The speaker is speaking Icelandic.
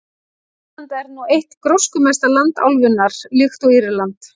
Finnland er nú eitt gróskumesta land álfunnar, líkt og Írland.